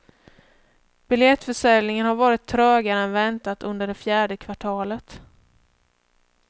Biljettförsäljningen har varit trögare än väntat under det fjärde kvartalet.